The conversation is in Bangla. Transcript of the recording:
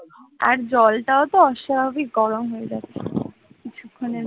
আর জলটাও তো অস্বাভাবিক গরম হয়ে যাচ্ছে কিছুক্ষণের মধ্যে